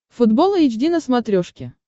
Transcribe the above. футбол эйч ди на смотрешке